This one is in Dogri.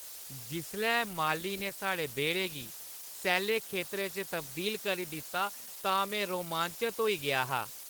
जिसलै माली ने साढ़े बेह्‌ड़े गी सैल्ले खेतरै च तब्दील करी दित्ता तां में रोमांचत होई गेआ हा।